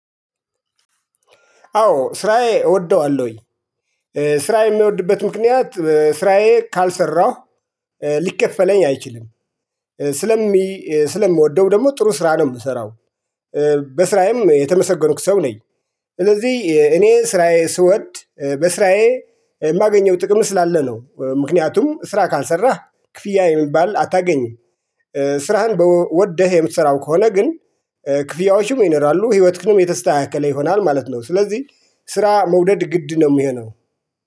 አዎ ስራዬ እወደዋለሁኝ። ስራዬ የሚወድበት ምክንያት ስራዬ ካልሰራሁ ሊከፈለኝ አይችልም። ስለሚ ስለምወደው ደግሞ ጥሩ ስራ ነው የምሰራው። በስራዬም የተመሰገንኩ ሰው ነኝ። ስለዚህ እኔ ስራዬ ስወድ በስራዬ የማገኘው ጥቅም ስላለ ነው። ምክንያቱም ስራ ካልሰራህ ክፍያ የሚባል አታገኝም። ስራህን ወደህ የምትሰራው ከሆነ ግን። ክፍያዎችም ይኖራሉ ህይወትክንም የተስተካከለ ይሆናል ማለት ነው። ስለዚህ ስራ መውደድ ግድ ነው የሚሆነው